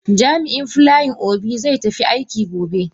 Jami'in Flying Obi zai tafi aiki gobe.